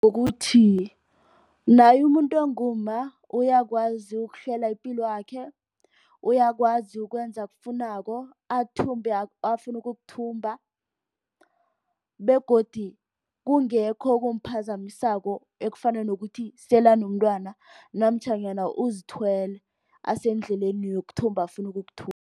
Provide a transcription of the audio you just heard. Ukuthi naye umuntu ongumma uyakwazi ukuhlela ipilwakhe. Uyakwazi ukwenza okufunako athumbe afuna ukukuthumba begodu kungekho okumphazamisako ekufana nokuthi sele anomntwana namtjhana uzithwele asendleleni yokuthumba afuna